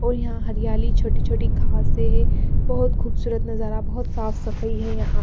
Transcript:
और यहाँ हरियाली छोटी-छोटी घासे हैं बहुत खूबसूरत नजारा बहुत साफ सफाई है यहाँ--